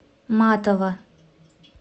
матова